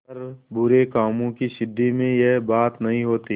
पर बुरे कामों की सिद्धि में यह बात नहीं होती